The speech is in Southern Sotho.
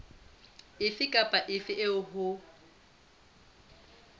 efe kapa efe eo ho